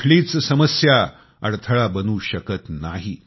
कुठलीच समस्या अडथळा बनू शकत नाही